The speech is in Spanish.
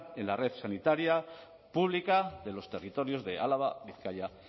en la red sanitaria pública de los territorios de álava bizkaia